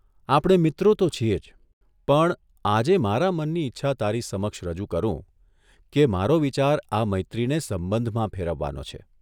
આપણે મિત્રો તો છીએ જ, પણ આજે મારા મનની ઇચ્છા તારી સમક્ષ રજૂ કરું કે મારો વિચાર આ મૈત્રીને સંબંધમાં ફેરવવાનો છે.